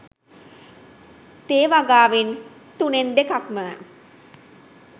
තේ වගාවෙන් තුනෙන් දෙකක්ම